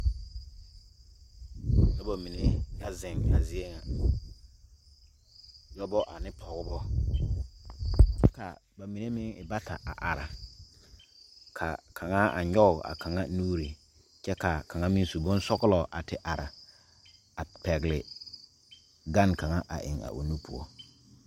Noba mine la ziŋ a zie nyɛ. Dɔbɔ ane pɔgbɔ kyɛ ka ba mine e bata a meŋ are ka kaŋ nyog a o tɔna nuure. Kaŋ meŋ su la bonsɔglɔ a are kyɛ pɛgle gane a o nu pʋɔ.